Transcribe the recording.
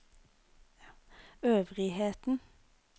øvrigheten